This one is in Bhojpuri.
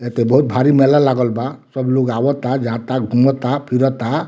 ऐते बहुत भरी मेला लागल बा सब लोग आवाता जाता घुमाता फिराता।